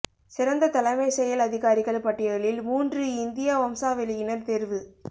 சிறந்த தலைமை செயல் அதிகாரிகள் பட்டியலில் மூன்று இந்திய வம்சாவெளியினர் தேர்வு